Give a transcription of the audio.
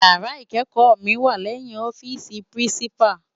Iyàrá ikékò mi wá lèyin òfisi pirinsipá